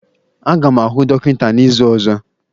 Aga m ahụ dọkịta n'izu ọzọ.